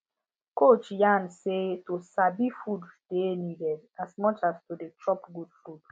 coach yarn say to sabi food dey needed as much as to dey chop good food